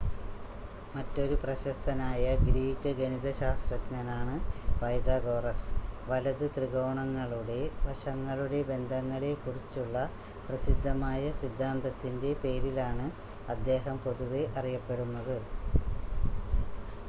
മറ്റൊരു പ്രശസ്തനായ ഗ്രീക്ക് ഗണിതശാസ്ത്രജ്ഞനാണ് പൈതഗോറസ് വലത് ത്രികോണങ്ങളുടെ വശങ്ങളുടെ ബന്ധങ്ങളെ കുറിച്ചുള്ള പ്രസിദ്ധമായ സിദ്ധാന്തത്തിൻ്റെ പേരിലാണ് അദ്ദേഹം പൊതുവെ അറിയപ്പെടുന്നത്